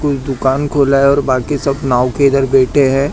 कोई दुकान खुला है और बाकी सब नाव के इधर बैठे हैं।